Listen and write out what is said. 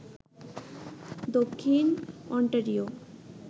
Dakshin Ontario